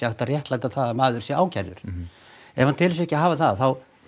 að réttlæta það að maður sé ákærður ef hann telur sig ekki hafa það þá